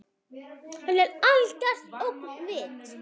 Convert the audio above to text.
Hann er algert öngvit!